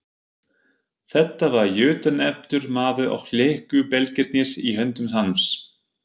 Þetta var jötunefldur maður og léku belgirnir í höndum hans.